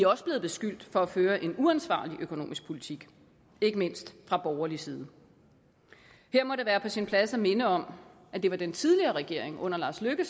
også blevet beskyldt for at føre en uansvarlig økonomisk politik ikke mindst fra borgerlig side her må det være på sin plads at minde om at det var den tidligere regering under lars løkke